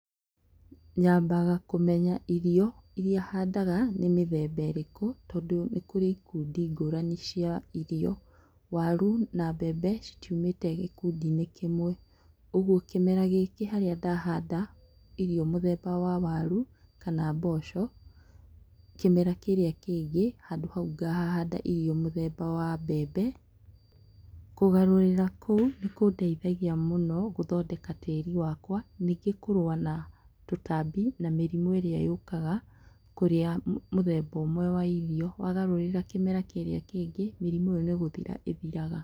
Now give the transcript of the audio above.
Nyambaga kũmenya irio iria handaga nĩ mĩthemba ĩrĩkũ tondũ nĩkũrĩ ikundi ngũrani cia irio. Waru na mbembe itiumĩte gĩkundi-inĩ kĩmwe. ũgwo kĩmera gĩkĩ harĩa ndahanda irio mũthemba wa waru kana mboco, kĩmera kĩu kĩngĩ handũ hau ngahahanda irio mũthema wa mbembe. Kũgarũrĩra kũu nĩkũndeithagia mũno gũthondeka tĩĩri wakwa, nyingĩ kũrũa na tũtambi namĩrimũ ĩrĩa yũkaga kũrĩa mũthemba ũmwe wa irio. Wagarũrĩra kĩmera kĩĩrĩ kĩngĩ, mĩrimũ ĩo nĩgũthira ĩthiraga.